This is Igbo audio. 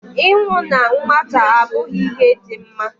Ịnwụ na nwata abụghị ihe dị mma